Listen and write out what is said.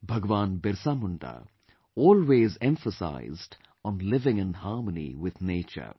Bhagwan Birsa Munda always emphasized on living in harmony with nature